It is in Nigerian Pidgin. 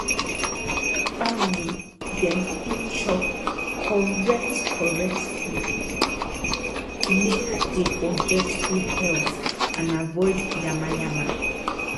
family dem fit chop correct correct food make dey for get good health and avoid yamayama